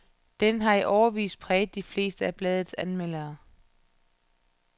Den har i årevis præget de fleste af bladets anmeldere.